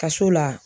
Kaso la